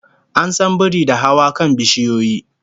An san biri da hawa kan bishiyoyi